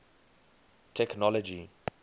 technology